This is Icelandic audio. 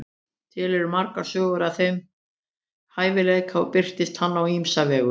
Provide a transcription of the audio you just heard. til eru margar sögur af þeim hæfileika og birtist hann á ýmsa vegu